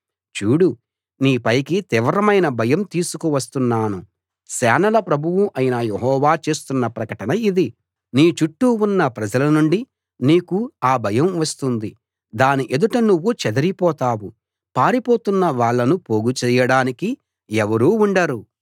చూడు నీ పైకి తీవ్రమైన భయం తీసుకు వస్తున్నాను సేనల ప్రభువు అయిన యెహోవా చేస్తున్న ప్రకటన ఇది నీ చుట్టూ ఉన్న ప్రజలనుండి నీకు ఆ భయం వస్తుంది దాని ఎదుట నువ్వు చెదరిపోతావు పారిపోతున్న వాళ్ళను పోగు చేయడానికి ఎవరూ ఉండరు